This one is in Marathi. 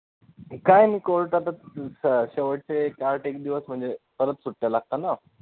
काय नाही court मध्येच अं शेवटचे एक आठ एक दिवस म्हणजे परत सुट्ट्या लागतात ना